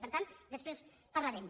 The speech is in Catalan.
i per tant després parlarem